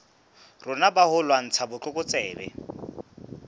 rona ba ho lwantsha botlokotsebe